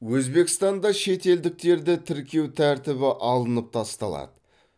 өзбекстанда шетелдіктерді тіркеу тәртібі алынып тасталады